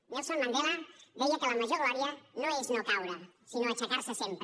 nelson mandela deia que la major glòria no és no caure sinó aixecar se sempre